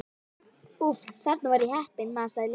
Úff, þarna var ég heppin másaði Lilla.